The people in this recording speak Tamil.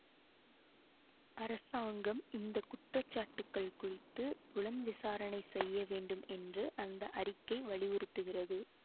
அரசாங்கம் இந்த குற்றச்சாட்டுக்கள் குறித்து புலன் விசாரணை செய்ய வேண்டும் என்று அந்த அறிக்கை வலியுறுத்துகிறது